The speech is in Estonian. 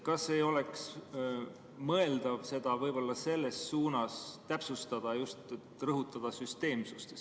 Kas ei oleks mõeldav seda selles suunas täpsustada, et rõhutada just süsteemsust?